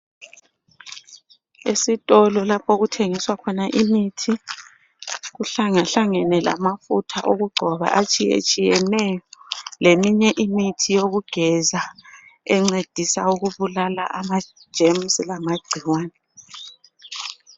Esitolo lapho okuthengiswa khona imithi kuhlangahlangene lamafutha okugcoba atshiyetshiyeneyo leminye imithi yokugeza encedisa ukubulala amajemusi lamagcikwane.